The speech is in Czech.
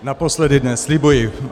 Naposledy dnes, slibuji.